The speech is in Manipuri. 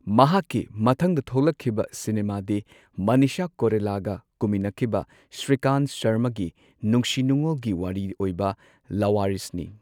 ꯃꯍꯥꯛꯀꯤ ꯃꯊꯪꯗ ꯊꯣꯛꯂꯛꯈꯤꯕ ꯁꯤꯅꯦꯃꯥꯗꯤ ꯃꯅꯤꯁꯥ ꯀꯣꯏꯔꯥꯂꯥꯒ ꯀꯨꯝꯃꯤꯟꯅꯈꯤꯕ ꯁ꯭ꯔꯤꯀꯥꯟ ꯁꯔꯃꯒꯤ ꯅꯨꯡꯁꯤ ꯅꯨꯡꯉꯣꯜꯒꯤ ꯋꯥꯔꯤ ꯑꯣꯏꯕ ꯂꯥꯋꯥꯔꯤꯁꯅꯤ꯫